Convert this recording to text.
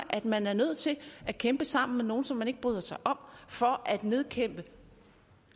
at man er nødt til at kæmpe sammen med nogle som man ikke bryder sig om for at nedkæmpe